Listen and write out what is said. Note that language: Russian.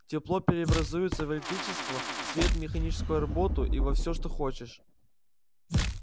тепло преобразуется в электричество свет механическую работу и во всё что хочешь